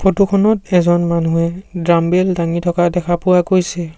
Photo খনত এজন মানুহে ডাম্বেল দাঙি থকা দেখা পোৱা গৈছে।